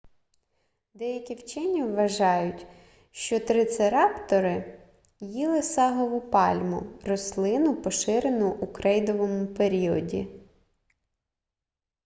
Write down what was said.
деякі вчені вважають що трицераптори їли сагову пальму рослину поширену у крейдовому періоді